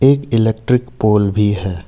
एक electric pole भी है।